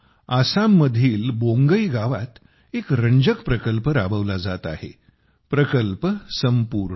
आसाममधील बोंगई गावात एक रंजक प्रकल्प राबवला जात आहे प्रकल्प संपूर्णा